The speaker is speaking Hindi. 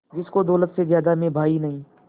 जिसको दौलत से ज्यादा मैं भाई नहीं